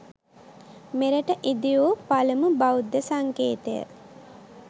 මෙරට ඉදිවූ පළමු බෞද්ධ සංකේතය